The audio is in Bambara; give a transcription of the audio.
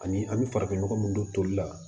Ani an bɛ farafinnɔgɔ min don toli la